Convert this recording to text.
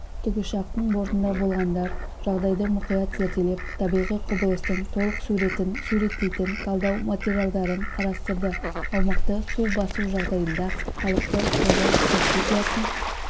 тікұшақтың бортында болғандар жағдайды мұқият зерделеп табиғи құбылыстың толық суретін суреттейтін талдау материалдарын қарастырды аумақты су басу жағдайында халықты қорғау стратегиясын